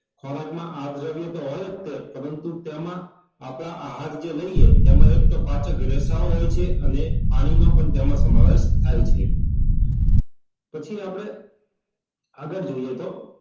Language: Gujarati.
ખોરાક માં આ દ્રવ્ય તો હોય જ છે પરંતુ તેમાં આપદા આહાર જે લઈએ તેમાં એક તો પાચક રેખા ઓ હોય છે અને પાણી માં પણ તેનો સમાવેશ થાય છે પછી આપડે આગળ જોઈએ તો